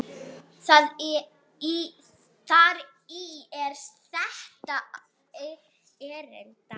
Þar í er þetta erindi